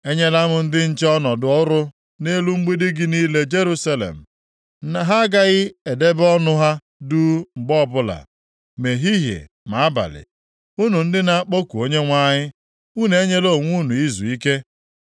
Enyela m ndị nche ọnọdụ ọrụ nʼelu mgbidi gị niile, Jerusalem. Ha agaghị edebe ọnụ ha duu mgbe ọbụla, ma ehihie ma abalị. Unu ndị na-akpọku Onyenwe anyị, unu enyela onwe unu izuike.